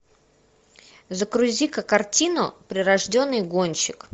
загрузи ка картину прирожденный гонщик